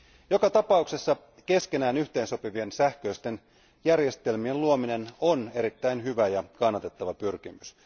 Joka tapauksessa keskenään yhteensopivien sähköisten järjestelmien luominen on erittäin hyvä ja kannatettava pyrkimys.